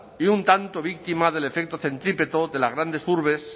y un tanto víctima del efecto centrípeto de las grandes urbes